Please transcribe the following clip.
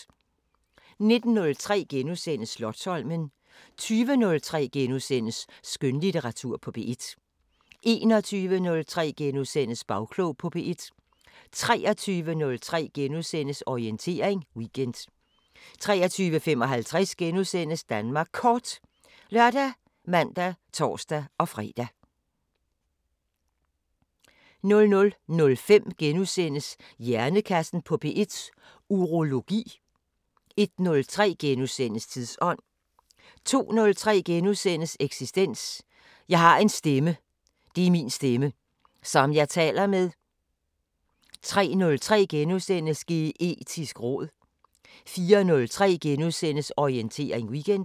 19:03: Slotsholmen * 20:03: Skønlitteratur på P1 * 21:03: Bagklog på P1 * 23:03: Orientering Weekend * 23:55: Danmark Kort *( lør, man, tor-fre) 00:05: Hjernekassen på P1: Urologi * 01:03: Tidsånd * 02:03: Eksistens: Jeg har en stemme. Det er min stemme. Som jeg taler med. * 03:03: Geetisk råd * 04:03: Orientering Weekend *